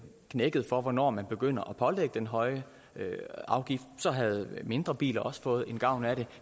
knækket for hvornår man begynder at pålægge den høje afgift så havde mindre biler også fået gavn af det